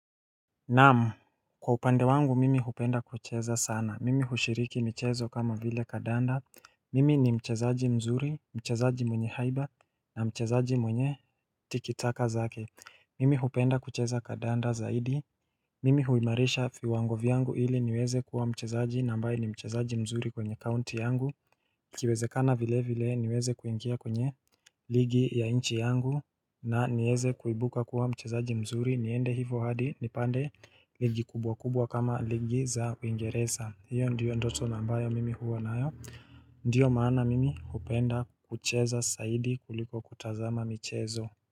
Naam, kwa upande wangu mimi hupenda kucheza sana, mimi hushiriki michezo kama vile kandanda, mimi ni mchezaji mzuri, mchezaji mwenye haiba na mchezaji mwenye tikitaka zake, mimi hupenda kucheza kandanda zaidi, mimi huimarisha viwango vyangu ili niweze kuwa mchezaji na ambaye ni mchezaji mzuri kwenye county yangu Ikiwezekana vile vile niweze kuingia kwenye ligi ya nchi yangu na niweze kuibuka kuwa mchezaji mzuri, niende hivyo hadi nipande ligi kubwa kubwa kama ligi za uingereza, hiyo ndiyo ndoto na ambayo mimi huwa nayo Ndiyo maana mimi uphenda kucheza zaidi kuliko kutazama michezo.